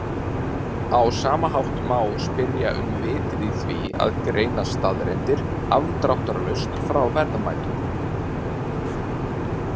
Á sama hátt má spyrja um vitið í því að greina staðreyndir afdráttarlaust frá verðmætum.